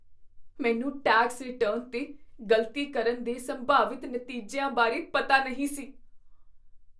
ਮੈਨੂੰ tax return 'ਤੇ ਗ਼ਲਤੀ ਕਰਨ ਦੇ ਸੰਭਾਵਿਤ ਨਤੀਜਿਆਂ ਬਾਰੇ ਪਤਾ ਨਹੀਂ ਸੀ।